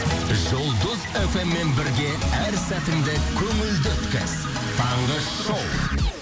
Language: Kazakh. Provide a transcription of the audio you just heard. жұлдыз фм мен бірге әр сәтіңді көңілді өткіз таңғы шоу